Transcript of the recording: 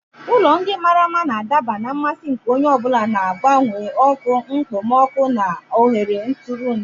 Ụlọ ndị mara mma ga-adaba na mmasị nke onye ọ bụla, na-agbanwe ọkụ, okpomọkụ na nhọrọ ntụrụndụ.